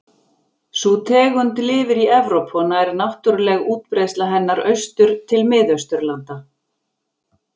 Sú tegund lifir í Evrópu og nær náttúruleg útbreiðsla hennar austur til Mið-Austurlanda.